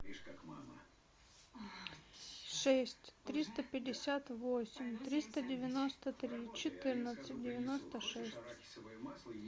шесть триста пятьдесят восемь триста девяносто три четырнадцать девяносто шесть